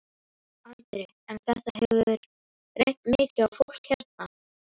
Andri: En þetta hefur reynt mikið á fólkið hérna?